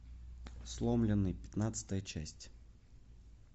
сломленный пятнадцатая часть